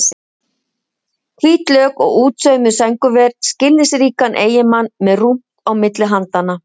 Hvít lök og útsaumuð sængurver, skilningsríkan eiginmann með rúmt á milli handanna.